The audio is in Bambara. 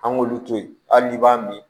An k'olu to yen hali n'i b'a min